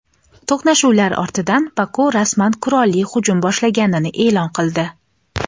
To‘qnashuvlar ortidan Baku rasman qurolli hujum boshlaganini e’lon qildi.